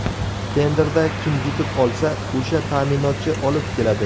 Tenderda kim yutib olsa, o‘sha ta’minotchi olib keladi.